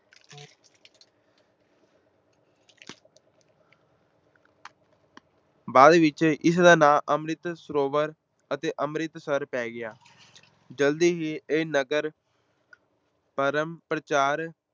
ਬਾਅਦ ਵਿੱਚ ਇਸ ਦਾ ਨਾਂ ਅੰਮ੍ਰਿਤ ਸਰੋਵਰ ਅਤੇ ਅੰਮ੍ਰਿਤਸਰ ਪੈ ਗਿਆ, ਜਲਦੀ ਹੀ ਇਹ ਨਗਰ ਧਰਮ ਪ੍ਰਚਾਰ